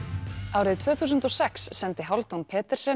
árið tvö þúsund og sex sendi Hálfdán